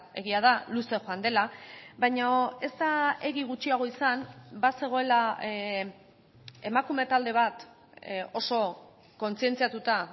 egia da luze joan dela baina ez da egia gutxiago izan bazegoela emakume talde bat oso kontzientziatuta